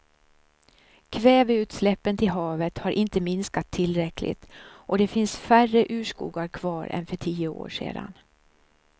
Kväveutsläppen till havet har inte minskat tillräckligt och det finns färre urskogar kvar än för tio år sedan.